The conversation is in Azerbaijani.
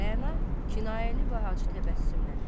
Rəana kinayəli və acı təbəssümlə.